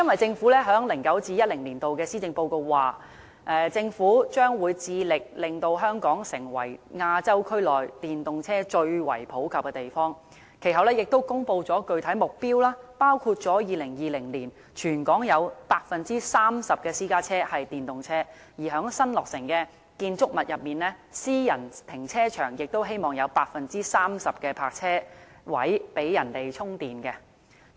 政府在 2009-2010 年度的施政報告曾指出，政府將致力令香港成為亞洲區內電動車最為普及的地方，其後亦公布具體目標，包括在2020年，全港有 30% 的私家車是電動車，並且希望在新落成的建築物中，私人停車場有 30% 的泊車位設置充電裝置。